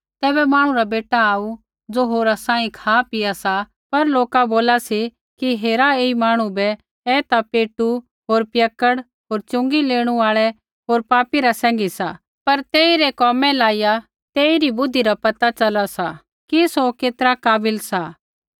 तैबै मांहणु रा बेटा आऊ ज़ो होरा सांही खापीआ सा पर लोका बोला सी कि हेरा ऐई मांहणु बै ऐ ता पेटू होर पियक्कड़ होर च़ुँगी लेणू आल़ै होर पापी रा सैंघी सा पर तेइरै कोमै लाइया तेइरी बुद्धि रा पता च़ला सा कि सौ केतरा काबिल सा